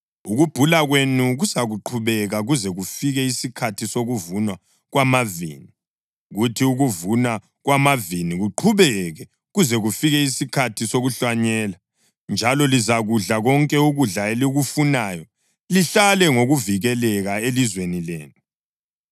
Ukubhula kwenu kuzaqhubeka kuze kufike isikhathi sokuvunwa kwamavini, kuthi ukuvunwa kwamavini kuqhubeke kuze kufike isikhathi sokuhlanyela, njalo lizakudla konke ukudla elikufunayo lihlale ngokuvikeleka elizweni lenu.